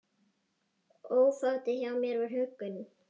Ofátið hjá mér var huggun.